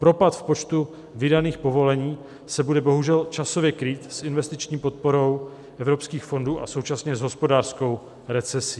Propad v počtu vydaných povolení se bude bohužel časově krýt s investiční podporou evropských fondů a současně s hospodářskou recesí.